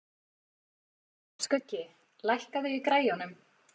Skuggi, lækkaðu í græjunum.